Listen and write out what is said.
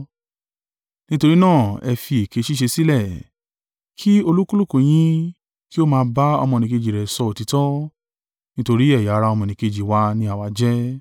Nítorí náà ẹ fi èké ṣíṣe sílẹ̀, ki olúkúlùkù yín kí ó máa ba ọmọnìkejì rẹ̀ sọ òtítọ́, nítorí ẹ̀yà ara ọmọnìkejì wa ni àwa jẹ́.